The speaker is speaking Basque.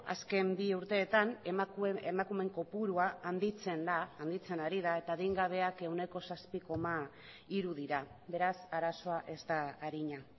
azken bi urteetan emakumeen kopurua handitzen da handitzen ari da eta adingabeak ehuneko zazpi koma hiru dira beraz arazoa ez da arina